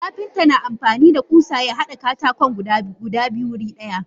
Kapinta na amfanida kusa yahada katakon guda biyu wuri daya.